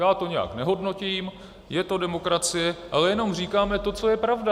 Já to nijak nehodnotím, je to demokracie, ale jenom říkáme to, co je pravda.